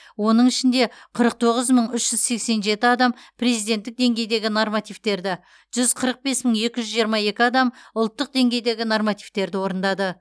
оның ішінде қырық тоғыз мың үш жүз сексен жеті адам президентік деңгейдегі нормативтерді жүз қырық бес мың екі жүз жиырма екі адам ұлттық деңгейдегі нормативтерді орындады